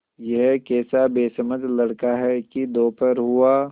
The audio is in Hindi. यह कैसा बेसमझ लड़का है कि दोपहर हुआ